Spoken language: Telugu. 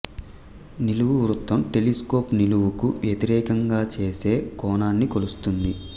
నిలువు వృత్తం టెలిస్కోప్ నిలువుకు వ్యతిరేకంగా చేసే కోణాన్ని కొలుస్తుంది